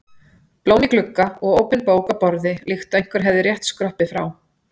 Blóm í glugga og opin bók á borði líkt og einhver hefði rétt skroppið frá.